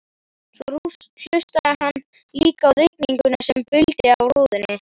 Svo hlustaði hann líka á rigninguna sem buldi á rúðunni.